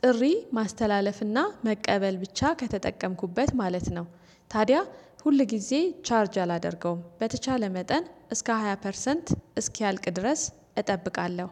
ጥሪ ማስተላለፍና መቀበል ብቻ ከተጠቀምኩበት ማለት ነው። ታዲያ ሁል ጊዜ ቻርጅ አላደርገውም በተቻለ መጠን እስከ ሃያ ፐርሰንት እስኪያልቅ ድረስ እጠብቃለሁ።